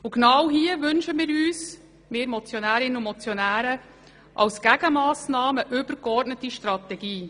Als Gegenmassnahme wünschen wir Motionärinnen und Motionäre eine übergeordnete Strategie.